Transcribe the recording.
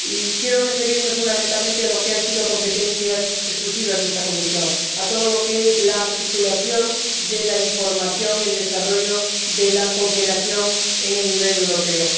Quiero referirme fundamentalmente a lo que han sido competencias exclusivas de esta comisión a todo lo que es la articulación de la información y el desarrollo de la cooperación en el nivel europeo.